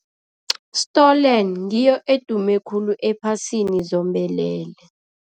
Stolen, ngiyo edume khulu ephasini zombelele.